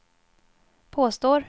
påstår